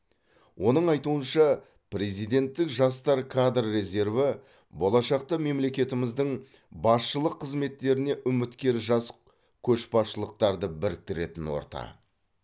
оның айтуынша президенттік жастар кадр резерві болашақта мемлекетіміздің басшылық қызметтеріне үміткер жас көшбасшыларды біріктіретін орта